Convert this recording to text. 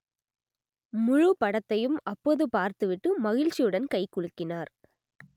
முழுப் படத்தையும் அப்போது பார்த்துவிட்டு மகிழ்ச்சியுடன் கை குலுக்கினார்